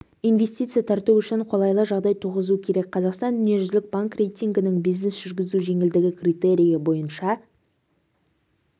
инвестиция тарту үшін қолайлы жағдай туғызу керек қазақстан дүниежүзілік банк рейтингінің бизнес жүргізу жеңілдігі критерийі бойынша